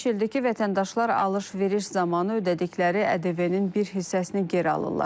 Artıq beş ildir ki, vətəndaşlar alış-veriş zamanı ödədikləri ƏDV-nin bir hissəsini geri alırlar.